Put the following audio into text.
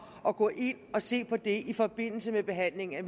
at gå ind og se på det i forbindelse med behandlingen af